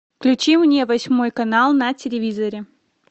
включи мне восьмой канал на телевизоре